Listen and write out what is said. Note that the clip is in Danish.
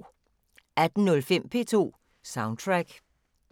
18:05: P2 Soundtrack